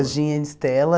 Jardim Ana Estela.